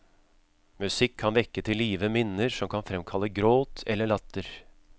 Musikk kan vekke til live minner som kan fremkalle gråt eller latter.